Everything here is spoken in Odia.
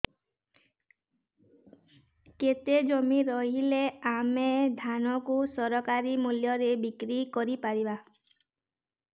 କେତେ ଜମି ରହିଲେ ଆମେ ଧାନ କୁ ସରକାରୀ ମୂଲ୍ଯରେ ବିକ୍ରି କରିପାରିବା